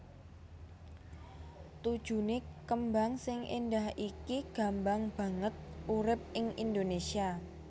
Tujuné kembang sing éndah iki gambang banget urip ing Indonésia